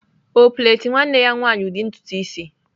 Ọ plait nwanne ya nwanyị ụdị ntutu isi?